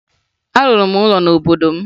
Arụrụ m ụlọ n'obodo m